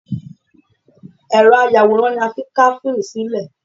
Ẹ̀rọ ayàwòrán ni a fi ń ká fíìmù sílẹ̀